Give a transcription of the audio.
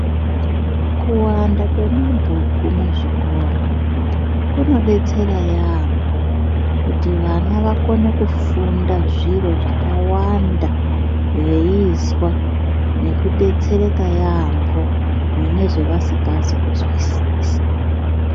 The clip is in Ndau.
Kuwanda mwemabhuku muzvikora kunodetsera yaamho kuti vana vakone kufunda zviro zvakawanda veizwa veidetsereka yaamho mune zvevasikazi muzwisisa.